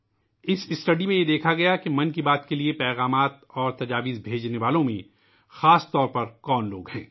اس مطالعے میں یہ دیکھا گیا کہ من کی بات کے لئے پیغامات اور مشورے بھیجنے والوں میں ، خاص طور پر کون لوگ ہیں